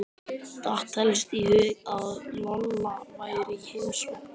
Datt helst í hug að Lolla væri í heimsókn.